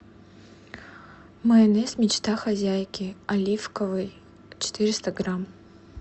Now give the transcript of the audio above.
майонез мечта хозяйки оливковый четыреста грамм